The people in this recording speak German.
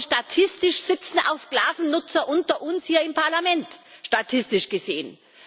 Statistisch gesehen sitzen auch Sklavennutzer unter uns hier im Parlament statistisch gesehen.